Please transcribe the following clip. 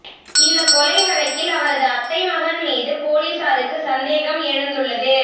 இந்த கொலை வழக்கில் அவரது அத்தை மகன் மீது போலீசாருக்கு சந்தேகம் எழுந்துள்ளது